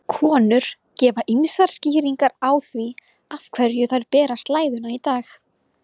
Konur gefa ýmsar skýringar á því af hverju þær bera slæðuna í dag.